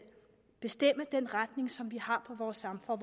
bestemme den retning som vi har i vores samfund